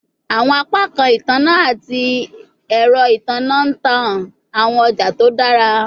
Awọn apakan itanna ati ẹrọ itanna n ta awọn ọja to dara